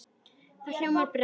Þá ljómaði Bragi.